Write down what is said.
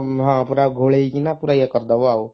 ହଁ ପୁରା ଗୋଳେଇକିନ ପୁରା ଇଏ କରିଦବ ଆଉ